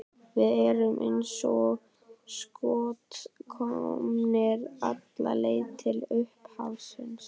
Við erum eins og skot komnir alla leið til upphafsins.